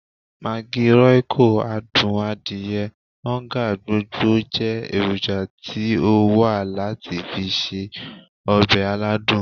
Maggi, royco, adun adiye, oonga, gbogbo je eroja ti o wa lati fi se obe aladun.